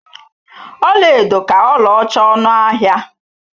Ọlaedo ka ọlaọcha ọnụ ahịa.